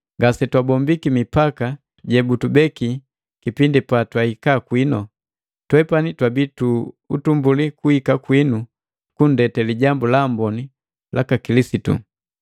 Ngase twahombiki mipaka jebutubeki kipindi patwahika kwinu. Twepani twabii tu utumbuli kuhika kwinu kundete Lijambu la Amboni jaka Kilisitu.